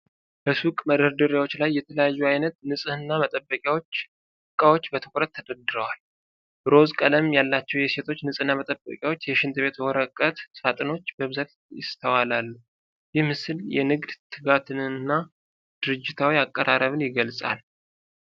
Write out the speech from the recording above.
በሱቅ መደርደሪያዎች ላይ የተለያየ ዓይነት የንጽህና መጠበቂያ ዕቃዎች በትኩረት ተደርድረዋል። ሮዝ ቀለሞች ያላቸው የሴቶች ንጽሕና መጠበቂያዎችና የሽንት ቤት የወረቀት ሳጥኖች በብዛት ይስተዋላሉ። ይህ ምስል የንግድ ትጋትን እና ድርጅታዊ አቀራረብን ይገልጻል።